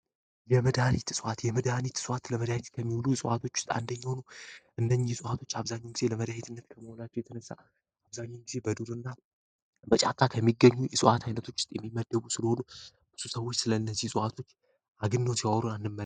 የመዳን የእፅዋዋት የመድሃኒ የእፅዋት ለመዳት ከሚውሉ የሰዋቶች ውስጥ አንደኛሆኑ እነኛ ፅዋቶች አብዛኙ ጊዜ ለመዳሄትነት ከመውላቸው የተነሳ አብዛኛ ጊዜ በዱር እና በጫቃ ከሚገኙ የሥዋዓት ዓይነቶች ውስጥ የሚመደቡ ስለሆኑ ብሱ ሰዎች ስለ እነዚህ ጸዋቶች አግኖ ት ያወሩ አለ